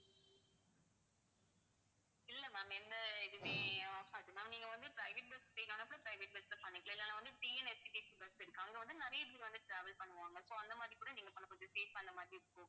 இல்ல ma'am எந்த இதுவுமே ஆகாது ma'am நீங்க வந்து private bus private bus ல பண்ணிக்கலாம். இல்லன்னா வந்து, TNSTC bus இருக்கு. அங்க வந்து நிறைய பேர் வந்து travel பண்ணுவாங்க. so அந்த மாதிரி கூட நீங்க மாதிரி இருக்கும்